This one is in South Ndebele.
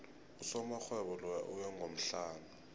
usomarhwebo loya uwe ngomhlana